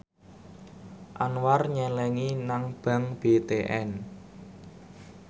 Anwar nyelengi nang bank BTN